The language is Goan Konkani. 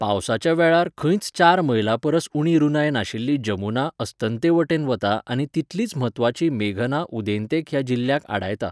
पावसाच्या वेळार खंयच चार मैलांपरस उणी रुंदाय नाशिल्ली जमुना अस्तंतेवटेन वता आनी तितलीच म्हत्वाची मेघना उदेंतेक ह्या जिल्ह्याक आडायता.